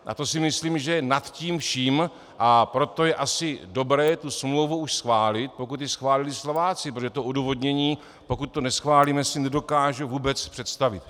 A to si myslím, že je nad tím vším, a proto je asi dobré tu smlouvu už schválit, pokud ji schválili Slováci, protože to odůvodnění, pokud to neschválíme, si nedokážu vůbec představit.